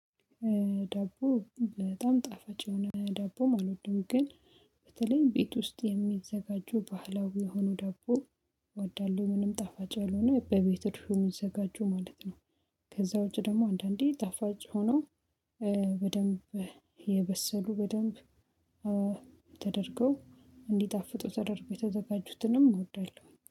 ዳቦ በጣም ጣፋጭ የሆነ ዳቦ አልወድም ግን በተለይ ቤት ውስጥ የሚዘጋጁ ባህላዊ የሆኑ ዳቦ እወዳሁ ምንም ጣፋጭ ያልሆነ በቤት እርሾ የሚዘጋጁ ማለት ነው ከዛ ውጪ ደግሞ አንዳንዴ ጣፋጭ ሆኖ በደንብ የበሰሉ በደንብ ተደርገው እንዲጣፍጡ ተደርገው የተዘጋጁትንም እወዳለሁ።